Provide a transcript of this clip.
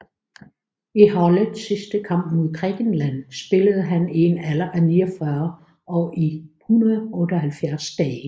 I holdets sidste kamp mod Grækenland spillede han i en alder af 49 år og 178 dage